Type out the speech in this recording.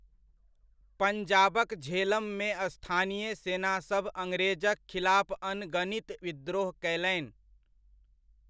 पञ्जाबक झेलममे स्थानीय सेनासभ अड़्ग्रेजक खिलाफ अनगनित विद्रोह कयलनि।